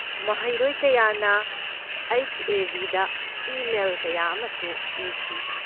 ꯃꯍꯩꯔꯣꯏ ꯀꯌꯥꯅ H. A. B. ꯗ ꯏꯃꯦꯜ ꯀꯌꯥ ꯑꯃꯁꯨ ꯏꯈꯤ꯫